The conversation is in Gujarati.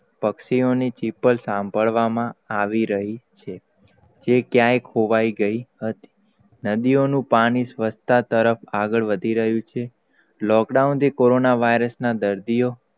પક્ષીઓ ની ચીસો સાંભળવા આવી રહિ છે. જે કયાંય ખોવાઈ ગઈ હતી, નદીઓ નું પાણી સ્વચ્છતા આગળ વધી રહ્યુ છે. lockdown થી કોરોના virus na દર્દીઓ,